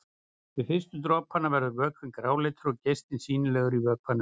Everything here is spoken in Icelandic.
Við fyrstu dropana verður vökvinn gráleitur og geislinn sýnilegur í vökvanum.